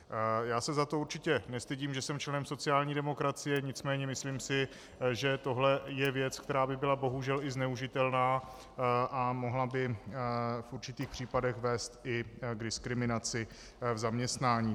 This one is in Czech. Já se za to určitě nestydím, že jsem členem sociální demokracie, nicméně si myslím, že tohle je věc, která by byla bohužel i zneužitelná a mohla by v určitých případech vést i k diskriminaci v zaměstnání.